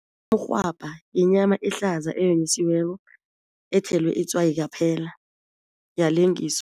Umrhwabha yinyama ehlaza eyonyisiweko ethelwe itswayi kaphela yalengiswa.